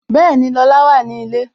Bẹẹni, Lola wà ní ilé